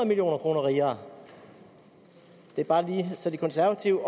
million kroner rigere det er bare lige så de konservative